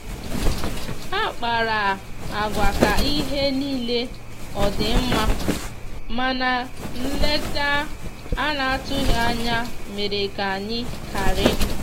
ha kpara agwa ka ihe nile ọdi mma mana nleta ana atụghi anya mere ka anya kari